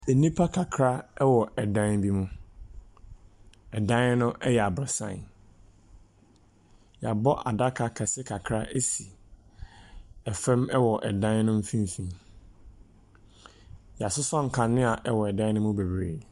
Nnipa kakra wɔ ɛdan bi mu. Ɛdan no yɛ aborɔsan. Wɔabɔ adaka kɛse kakra asi ɛfam hɔ, ɛdan no mfimfini. Wɔasosɔ nkanea wɔ ɛdan no mu bebree.